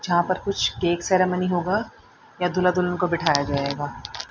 जहां पर कुछ केक सेरेमनी होगा या दूल्हा दुल्हन को बैठाया जाएगा।